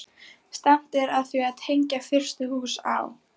Stefnt er að því að tengja fyrstu hús á